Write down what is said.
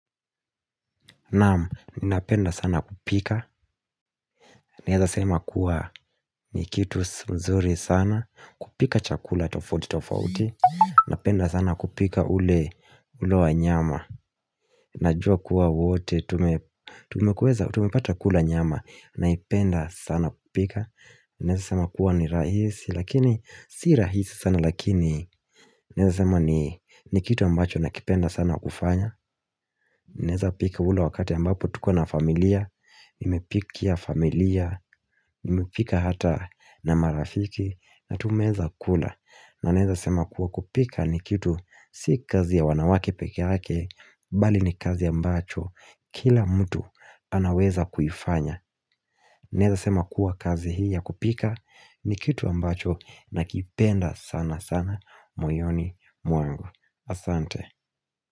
Naam napenda sana kupika, naeza sema kuwa ni kitu mzuri sana, kupika chakula tofoti tofauti, napenda sana kupika ule ule wa nyama, najua kuwa wote, tumepata kula nyama, naipenda sana kupika, naeza sema kuwa ni rahisi, lakini si rahisi sana lakini, naeza sema ni kitu ambacho nakipenda sana kufanya, Naeza pika ule wakati ambapo tuko na familia nimepikia familia nimepika hata na marafiki na tumeeza kula na naeza sema kuwa kupika ni kitu Si kazi ya wanawake peke hake Bali ni kazi ambacho Kila mtu anaweza kuifanya Naeza sema kuwa kazi hii ya kupika ni kitu ambacho nakipenda sana sana moyoni mwangu Asante.